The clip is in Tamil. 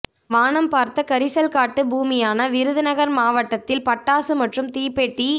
வானம் பார்த்த கரிசல்காட்டு பூமியான விருதுநகர் மாவட்டத்தில் பட்டாசு மற்றும் தீப்பெட்டி